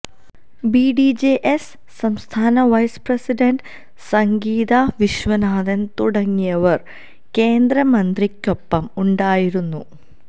B D J S സംസ്ഥന vice president Sangeetha Viswanathan തുടങ്ങിയവർ കേന്ദ്ര മന്ത്രി ക്കൊപ്പം ഉണ്ടായിരുന്നു